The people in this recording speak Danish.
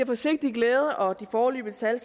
forsigtig glæde og de foreløbige tal